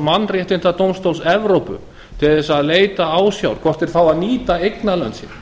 mannréttindadómstóls evrópu til þess að leita ásjár hvort þeir fái að nýta eignarlönd sín